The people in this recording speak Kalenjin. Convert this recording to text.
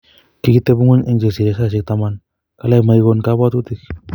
Kikitebuno eng chesire saishek taman, kalya makigon kabwatutik